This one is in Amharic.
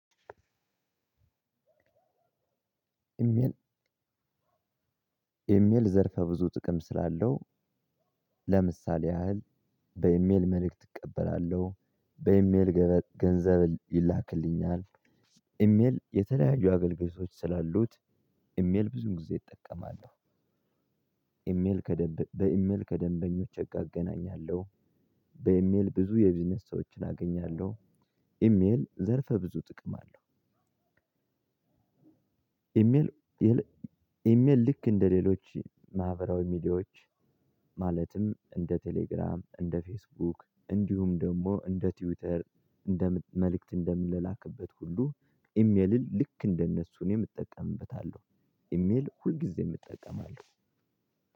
ኢሜል ዘርፈ ብዙ ጥቅም ስላለው ለምሳሌ ያህል በኢሜል መልእክት እቀበላለሁ፣ በኢሜል ገንዘብ ይላክልኛል፣ ኢሜል የተለያዩ አገልግሎቶች ስላሉት ኢሜል ብዙውን ጊዜ እጠቀማለሁ። ኢሜል ከደንብ በኢሜል ከደንበኞች እገናኛለሁ። በኢሜል ብዙ የቢዝነስ ሰዎችን አገኛለሁ። ኢሜል ዘርፈ ብዙ ጥቅም አለው። ኢሜል ኢሜል ልክ እንደሌሎች ማህበራዊ ሚዲያዎች ማለትም እንደ ቴሌግራም፣ እንደ ፌስቡክ፣ እንዲሁም ደግሞ እንደ ትዊተር፣ እንደ መልእክት እንደምላላክበት ሁሉ ኢሜልን ልክ እንደነሱ እኔም እጠቀምበታለሁ። ኢሜል ሁልጊዜም እጠቀማለሁ።